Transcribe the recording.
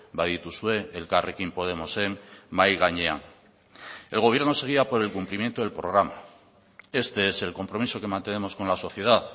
badituzue elkarrekin podemosen mahai gainean el gobierno se guía por el cumplimiento del programa este es el compromiso que mantenemos con la sociedad